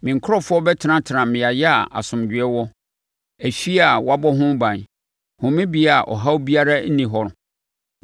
Me nkurɔfoɔ bɛtenatena mmeaeɛ a asomdwoeɛ wɔ, afie a wɔabɔ ho ban homebea a ɔhaw biara nni hɔ.